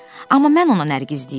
Amma mən ona Nərgiz deyirəm.